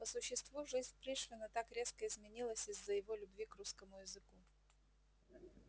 по существу жизнь пришвина так резко изменилась из-за его любви к русскому языку